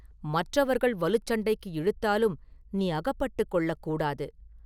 மற்றவர்கள் வலுச் சண்டைக்கு இழுத்தாலும் நீ அகப்பட்டுக் கொள்ளக் கூடாது.